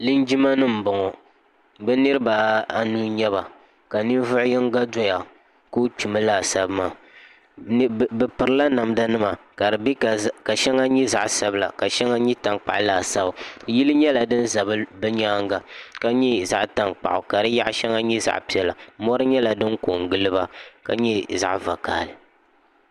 linjima nim n boŋo bi niraba anu n nyɛba ka ninvuɣu yinga doya ka o kpimi laasabu maa bi pirila namda nima ka shɛŋa nyɛ zaɣ sabila ka shɛŋa nyɛ tankpaɣu laasabu yili nyɛla din ʒɛ bi nyaanga ka nyɛ zaɣ tankpaɣu ka di yaɣa shɛli nyɛ zaɣ piɛlli mori nyɛla din ko n giliba ka nyɛ zaɣ vakaɣali